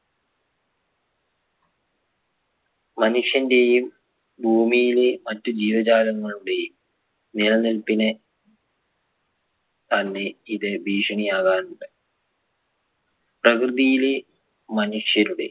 മനുഷ്യന്റെയും ഭൂമിയിലെ മറ്റ് ജീവജാലങ്ങളുടെയും നിലനിൽപ്പിന് തന്നെ ഇത് ഭീഷണി ആകാറുണ്ട് പ്രകൃതിയിലെ മനുഷ്യരുടെ